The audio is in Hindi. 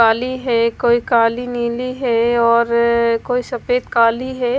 काली है कोई काली नीली है और कोई सफ़ेद काली है।